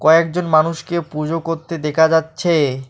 কয়েকজন মানুষকে পুজো করতে দেখা যাচ্ছে।